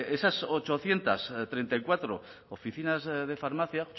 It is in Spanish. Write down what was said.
esas ochocientos treinta y cuatro oficinas de farmacia